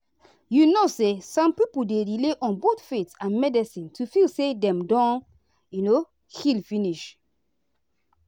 you know say some people dey rely on both faith and medicine to feel say dem don um heal finish.